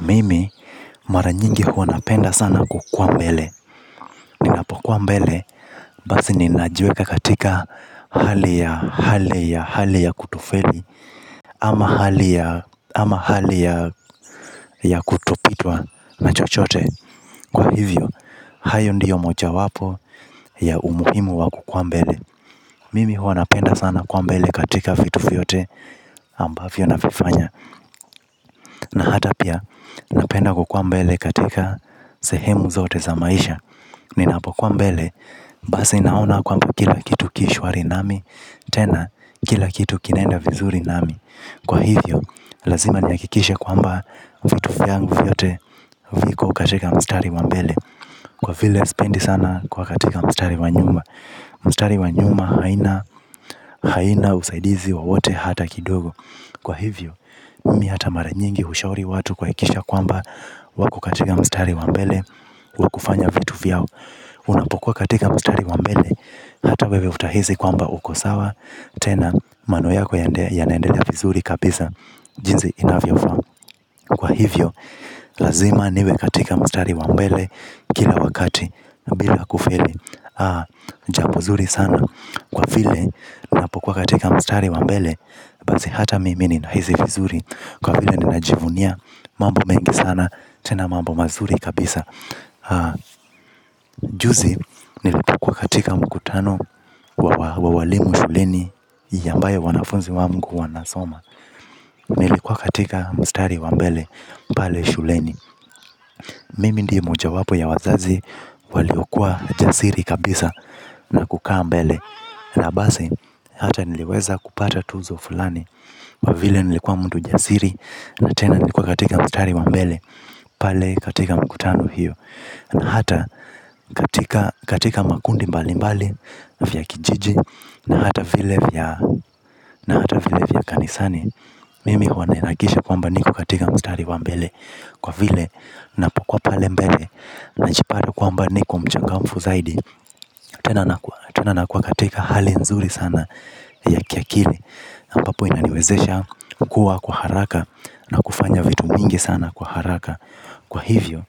Mimi, mara nyingi huwa napenda sana kukua mbele. Ninapokuwa mbele, basi ninajiweka katika hali ya kutofeli. Ama hali ya kutopitwa na chochote. Kwa hivo, hayo ndiyo mojawapo ya umuhimu wa kukua mbele. Mimi huwa napenda sana kuwa mbele katika vitu vyote ambavyo navifanya. Na hata pia napenda kukua mbele katika sehemu zote za maisha. Ninapokuwa mbele, basi naona kwamba kila kitu ki shwari nami, tena n kila kitu kinaenda vizuri nami. Kwa hivyo lazima nihakikishe kwamba vitu vyangu vyote viko katika mstari wa mbele, kwa vile sipendi sana kuwa mstari wa nyuma. Mstari wa nyuma haina usaidizi wowote hata kidogo. Kwa hivyo, mimi hata mara nyingi hushauri watu kuhakikisha kwamba wako katika mstari wa mbele wa kufanya vitu vyao. Unapokuwa katika mstari wa mbele, hata wewe utahisi kwamba uko sawa. Tena, maneno yako yanaendelea vizuri kabisa jinsi inavyofaa. Kwa hivyo, lazima niwe katika mstari wa mbele kila wakati bila kufeli. Jambo zuri sana kwa vile, ninapokuwa katika mstari wa mbele, basi hata mimi ninahisi vizuri. Kwa vile ninajivunia mambo mengi sana, tena mambo mazuri kabisa. Juzi, nilipokuwa katika mkutano wa walimu shuleni ambayo wanafunzi wangu wanasoma, nilikuwa katika mstari wa mbele pale shuleni. Mimi ndiye mojawapo ya wazazi, waliokuwa jasiri kabisa na kukaa mbele. Na basi hata niliweza kupata tuzo fulani. Kwa vile nilikuwa mtu jasiri, na tena nikuwa katika mstari wa mbele. Pale katika mkutano hiyo. Na hata katika makundi mbali mbali ya kijiji na hata vile vya kanisani. Mimi huwa ninahakikisha kwamba niko katika mstari wa mbele. Kwa vile, ninapokuwa pale mbele, najipata kwamba niko mchangamfu zaidi. Tena nakua katika hali nzuri sana ya kiakili, ambapo inaniwezesha kukua kwa haraka, na kufanya vitu mingi sana kwa haraka. Kwa hivyo.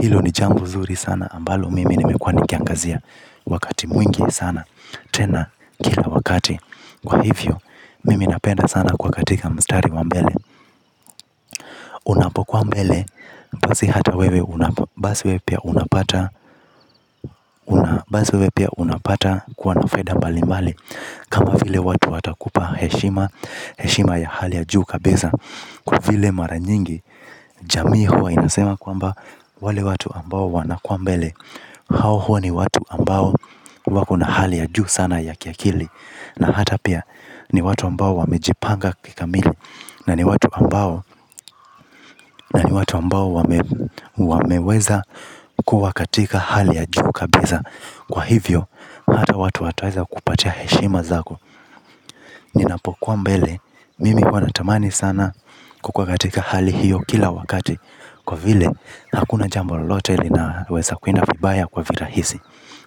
Hilo ni jambo nzuri sana ambalo mimi nimekuwa nikiangazia. Wakati mwingi sana tena, kila wakati. Kwa hivyo, mimi napenda sana kuwa katika mstari wa mbele. Unapokuwa mbele, basi hata wewe basi wewe pia unapata kuwa na faida mbali mbali. Kama vile watu watakupa heshima. Heshima ya hali ya juu kabisa. Kwa vile mara nyingi jamii huwa inasema kwamba, wale watu ambao wanakuwa mbele, hao huwa ni watu ambao wako na hali ya juu sana ya kiakili, na hata pia, ni watu ambao wamejipanga kikamili. Na ni watu ambao na ni watu ambao wameweza kuwa katika hali ya juu kabisa. Kwa hivyo. Hata watu wataweza kukupatia heshima zako. Ninapokuwa mbele mimi huwa natamani sana kukua katika hali hiyo kila wakati. Kwa vile, hakuna jambo lolote linaweza kwenda vibaya kwa virahisi.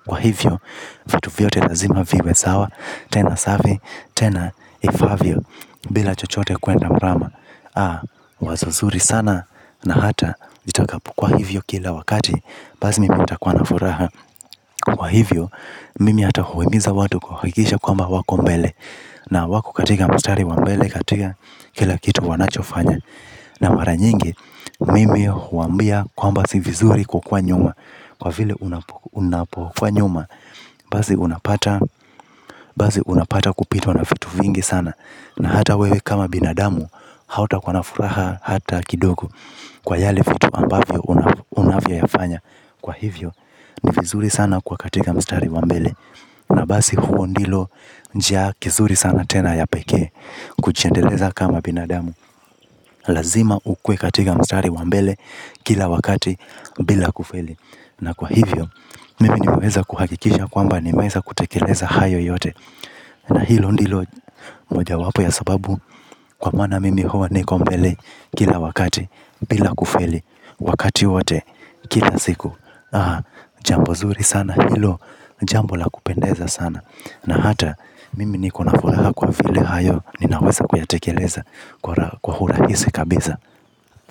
Kwa hivyo, vitu vyote lazima viwe sawa, tena safi, tena ifaavyo. Bila chochote kuenda mrama. Ah! Wazo nzuri sana na hata, nitakapokuwa hivyo kila wakati, basi mimi nitakuwa na furaha. Kwa hivyo. Mimi hata huwahimiza watu kuhakikisha kwamba wako mbele. Na wako katika mstari wa mbele katika kila kitu wanachofanya. Na mara nyingi mimi huwaambia kwamba si vizuri kukua nyuma. Kwa vile unapokuwa nyuma, basi unapata basi unapata kupitwa na vitu vingi sana, na hata wewe kama binadamu hauta kuwa na furaha hata kidogo. Kwa yale vitu ambavyo unavyoyafanya. Kwa hivyo ni vizuri sana kuwa katika mstari wa mbele. Na basi huo ndilo njia kizuri sana tena ya pekee. Kujiendeleza kama binadamu, lazima ukuwe katika mstari wa mbele, kila wakati bila kufeli. Na kwa hivyo. Mimi nimeweza kuhakikisha kwamba nimeeza kutekeleza hayo yote. Na hilo ndilo mojawapo ya sababu kwa maana mimi huwa niko mbele kila wakati, bila kufeli wakati wote, kila siku. Jambo nzuri sana hilo, jambo la kupendeza sana. Na hata mimi niko na furaha kwa vile hayo ninaweza kuyatekeleza kwa urahisi kabisa.